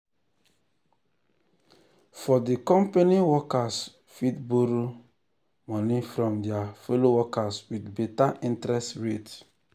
for di company workers fit borrow money from their fellow workers with better interest rate.